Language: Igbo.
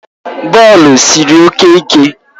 Bọọlụ siri oke ike